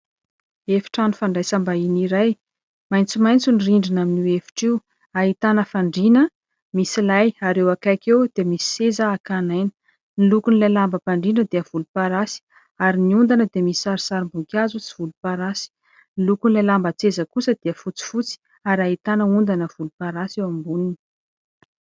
Efitrano fandraisam-bahiny iray : maitsomaitso ny rindrina amin' io efitra io, ahitana fandriana misy lay, ary eo akaiky eo dia misy seza hakan'aina. Ny lokon'ilay lambam-pandriana dia volomparasy, ary ny ondana dia misy sarisarim-boninkazo sy volomparasy, ny lokon'ilay lamban- tseza kosa dia fotsifotsy, ary ahitana ondana volomparasy eo amboniny.